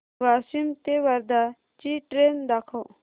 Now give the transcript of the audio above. वाशिम ते वर्धा ची ट्रेन दाखव